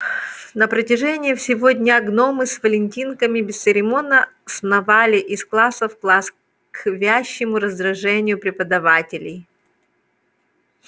на протяжении всего дня гномы с валентинками бесцеремонно сновали из класса в класс к вящему раздражению преподавателей